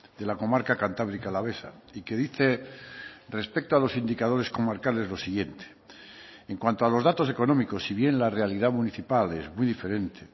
de la comarca cantábrica alavesa y que dice respecto a los indicadores comarcales lo siguiente en cuanto a los datos económicos si bien la realidad municipal es muy diferente